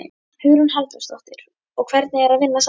Hugrún Halldórsdóttir: Og hvernig er að vinna saman?